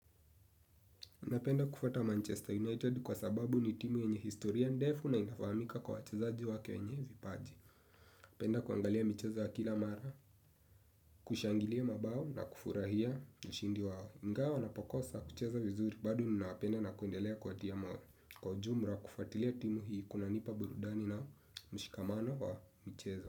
Napenda kufuata Manchester United kwa sababu ni timu yenye historia ndefu na inafahamika kwa wachezaji wake wenye vipaji. Napenda kuangalia michezo ya kila mara, kushangilia mabao na kufurahia kishindi wao. Ingawa wanapokosa kucheza vizuri bado ninawapenda na kuendelea kuwatia moyo. Kwa ujumra kufuatilia timu hii kunanipa burudani na mshikamano wa mchezo.